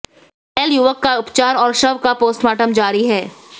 घायल युवक का उपचार और शव का पोस्टमार्टम जारी है